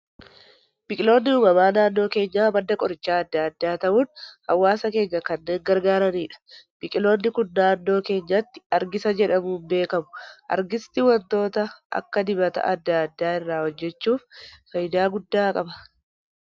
Biqiloonni uumamaa naannoo keenyaa madda qorichootaa addaa addaa ta'uun hawaasa keenya kanneen gargaaranidha. Biqiloonni Kun naannoo keenyatti argisa jedhamuun beekamu. Argisti waantota akka dibataa addaa addaa irraa hojjechuuf fayidaa guddaa qaba.